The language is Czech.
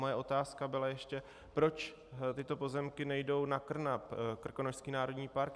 Moje otázka byla ještě, proč tyto pozemky nejdou na KRNAP, Krkonošský národní park.